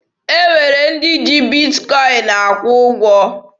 E nwere ndị ji Bitkọin akwụ ụgwọ.